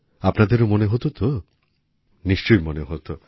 আপনাদেরও মনে হত তো নিশ্চয়ই মনে হত